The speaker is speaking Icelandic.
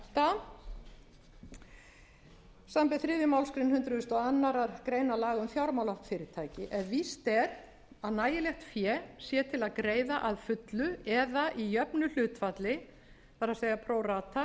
átta samanber þriðju málsgrein hundrað og aðra grein laga um fjármálafyrirtæki ef víst er að nægilegt fé sé til að greiða að fullu eða í jöfnu hlutfalli það er pro rata